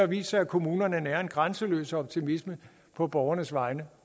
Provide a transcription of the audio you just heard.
vist sig at kommunerne nærer en grænseløs optimisme på borgernes vegne